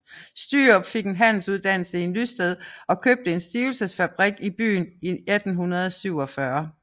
Stürup fik en handelsuddannelse i Nysted og købte en stivelsesfabrik i byen i 1847